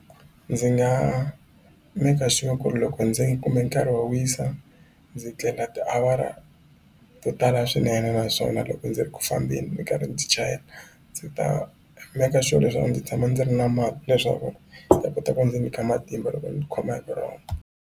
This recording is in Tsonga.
Ndzi nga maker sure ku ri loko ndzi kume nkarhi wo wisa ndzi tlela tiawara to tala swinene naswona loko ndzi ri ku fambeni ni karhi ndzi chayela ndzi ta maker sure leswaku ndzi tshama ndzi ri na mati leswaku ndzi ya ta kota ku ndzi nyika matimba loko ndzi khoma hi vurhongo.